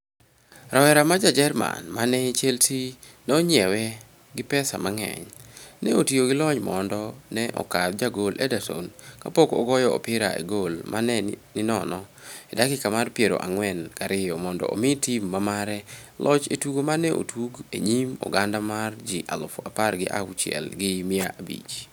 Rawera ma Ja-Jerman, ma ne Chelsea nonyiewe gi pesa mangeny, ne otiyo gi lony mondo ne okadh jagol Ederson kapok ogoyo opira e gol ma ne ninono e dakika mar piero ang'wen gariyo mondo omii tim mamare loch e tugo ma ne otug e nyim oganda mar ji aluf apar gi auchiel gi mia abich.